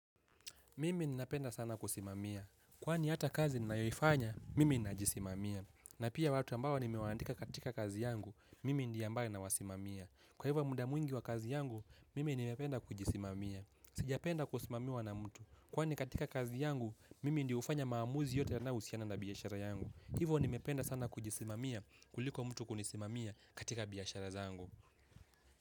Mimi ninapenda sana kusimamia. Kwani hata kazi ninayoifanya, mimi ninajisimamia. Na pia watu ambao nimewaandika katika kazi yangu, mimi ndiye ambaye nawasimamia. Kwa hivyo muda mwingi wa kazi yangu, mimi nimependa kujisimamia. Sijapenda kusimamiwa na mtu. Kwani katika kazi yangu, mimi ndio hufanya maamuzi yote yanayohusiana na biashara yangu. Hivo nimependa sana kujisimamia kuliko mtu kunisimamia katika biashara zangu.